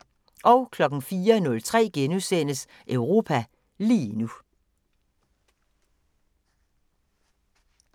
04:03: Europa lige nu *